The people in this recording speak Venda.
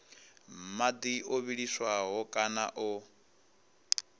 madi o vhiliswaho kana o